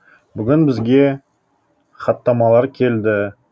бүгін бізге хаттамалар келді